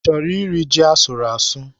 I chọrọ iri ji asụrụ asụ?